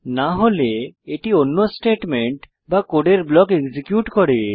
না হলে এটি অন্য স্টেটমেন্ট বা কোডের ব্লক এক্সিকিউট করে